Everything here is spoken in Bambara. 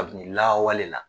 Kabini laawale la